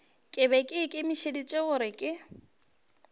be ke ikemišeditše gore ke